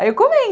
Aí eu